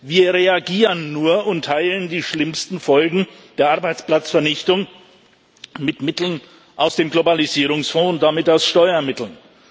Wir reagieren nur und teilen die schlimmsten Folgen der Arbeitsplatzvernichtung mit Mitteln aus dem Globalisierungsfonds und damit aus Steuermitteln.